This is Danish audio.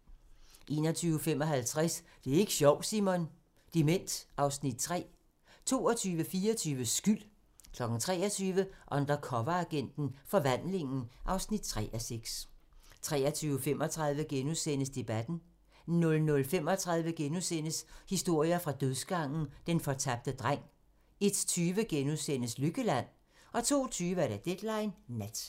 21:55: Det er ik' sjovt, Simon! - Dement (Afs. 3) 22:24: Skyld 23:00: Undercoveragenten - Forvandlingen (3:6) 23:35: Debatten * 00:35: Historier fra dødsgangen - Den fortabte dreng * 01:20: Lykkeland? * 02:20: Deadline Nat